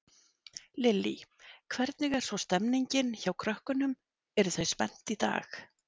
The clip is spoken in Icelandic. Lillý: Hvernig er svo stemmingin hjá krökkunum, eru þau spennt í dag?